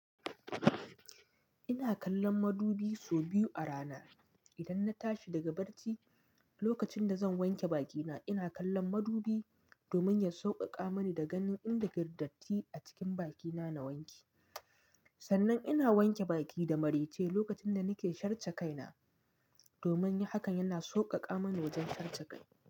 Ina kallon madubi so biyu a rana. Idan na tashi daga barci, lokacin da zan wanke bakina, ina kallon madubi domin ya sauƙaƙa mani da ganin inda girdatti a cikin bakina na wanke. Sannan ina wanke baki da marece lokacin da nake sharce kai na domin hakan yana sauƙaƙa mani wajen tace kai.